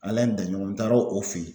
Alayi Daɲɔgɔn n taara o fɛ ye.